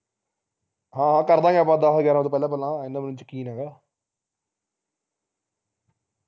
ਹਾਂ ਕਰ ਦਵਾਂਗੇ ਆਪਾ ਦਹ ਗਿਆਰਾਹ ਤੋਂ ਪਹਿਲਾਂ ਪਹਿਲਾਂ ਇਹਨਾਂ ਮੈਨੂੰ ਯਕੀਨ ਹੈਗਾ